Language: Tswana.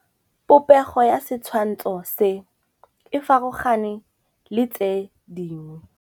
Popêgo ya setshwantshô se, e farologane le tse dingwe.